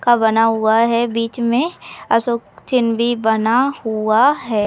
का बना हुआ है। बीच में अशोक चिन्ह भी बना हुआ है।